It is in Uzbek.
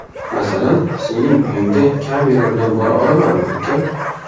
Masalan, sening uyingga kamera bilan bora olamanmi, ukam?